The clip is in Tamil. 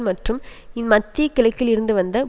மற்றும் மத்திய கிழக்கில் இருந்து வந்த